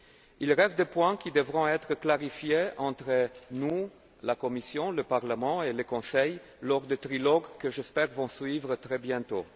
Il reste des points qui devront être clarifiés entre nous, la Commission, le Parlement et le Conseil, lors des trilogues qui, j'espère, suivront très bientôt.